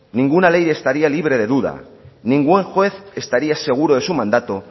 ninguna ley estaría libre de duda ningún juez estaría seguro de su mandato